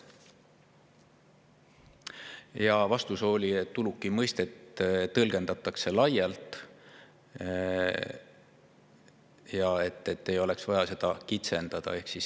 Ja vastus oli, et uluki mõistet tõlgendatakse laialt ja et seda ei oleks vaja kitsendada.